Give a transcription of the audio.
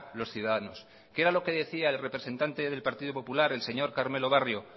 los ciudadanos quée era lo que decía el representante del partido popular el señor carmelo barrio